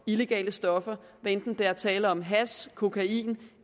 illegale stoffer hvad enten der er tale om hash kokain